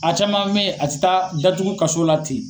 A caman bɛ ye a tɛ taa datugu kaso la ten.